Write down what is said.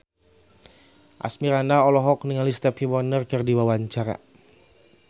Asmirandah olohok ningali Stevie Wonder keur diwawancara